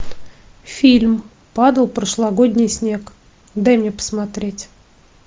фильм падал прошлогодний снег дай мне посмотреть